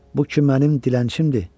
Bu ki mənim dilənçimdir.